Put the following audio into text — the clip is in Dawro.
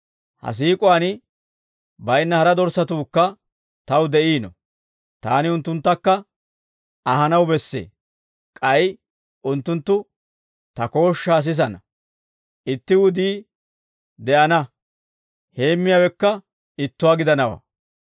Ha sikkuwaan baynna hara dorssatuukka Taw de'iino. Taani unttunttakka ahanaw bessee. K'ay unttunttu Ta kooshshaa sisana; itti wudii de'ana; heemmiyaawekka ittuwaa gidanawaa.